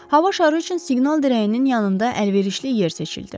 Hava şarı üçün siqnal dirəyinin yanında əlverişli yer seçildi.